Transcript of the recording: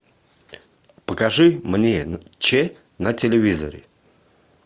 покажи мне че на телевизоре